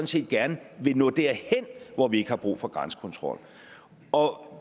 set gerne vil nå derhen hvor vi ikke har brug for grænsekontrol og